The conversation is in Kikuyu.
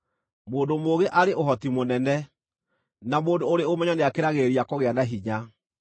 Mũndũ mũũgĩ arĩ ũhoti mũnene, na mũndũ ũrĩ ũmenyo nĩakĩragĩrĩria kũgĩa na hinya;